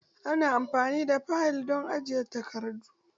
Ana amfani da fayil don ajiye takardu